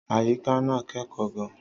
Àyíká náà kẹ́kọ̀ọ́ gan-an.